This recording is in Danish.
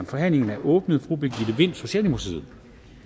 forhandlingen er åbnet fru birgitte vind socialdemokratiet